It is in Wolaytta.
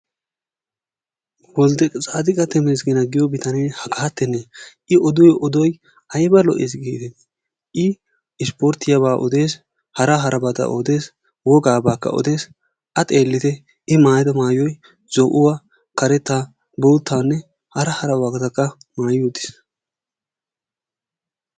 Woldetsaadiqqa temegeena giyoo bitanee hagaatene i odiyoo odoy ayba lo"ees gidetii! i isporttiyaabaa odees. wogaabaa odees. hara harabaakka odees. a xeellite i maayido maayoy zo"uwaa kaarettaa boottaanne hara harabatakka maayi uttiis.